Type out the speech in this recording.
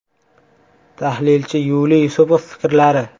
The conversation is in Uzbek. Tahlilchi Yuliy Yusupov fikrlari.